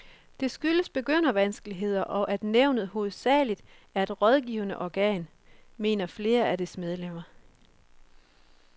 Det skyldes begyndervanskeligheder, og at nævnet hovedsageligt er et rådgivende organ, mener flere af dets medlemmer.